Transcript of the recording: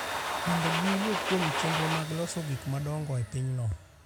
mondo giwuo kuom chenro mag loso gik ma dongo e pinyno.